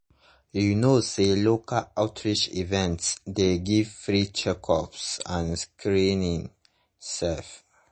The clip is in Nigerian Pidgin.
you know say local outreach events dey give free checkups and screening sef.